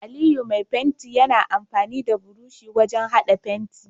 Aliyu Mai fenti Yana amfani da burushi wajan hada fenti